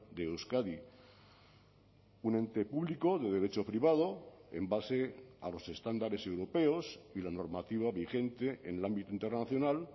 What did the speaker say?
de euskadi un ente público de derecho privado en base a los estándares europeos y la normativa vigente en el ámbito internacional